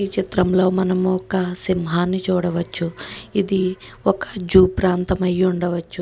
ఈ చిత్రం లో మనము ఒక సింహాని చూడ వచ్చు. ఇది ఒక జూ ప్రాంతం అయ్యే ఉండ వచ్చు.